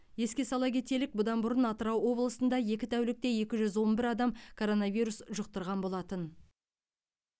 еске сала кетелік бұдан бұрын атырау облысында екі тәулікте екі жүз он бір адам коронавирус жұқтырған болатын